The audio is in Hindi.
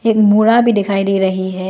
बोरा भी दिखाई दे रही है।